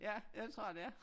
Ja ja det tror jeg det er